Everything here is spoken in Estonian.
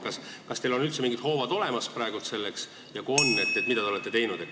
Kas teil on selleks üldse mingid hoovad olemas ja kui on, siis mida te olete teinud?